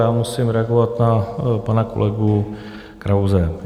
Já musím reagovat na pana kolegu Krause.